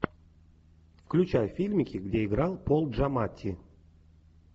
включай фильмики где играл пол джаматти